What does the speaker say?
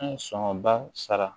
An ye sɔngɔnba sara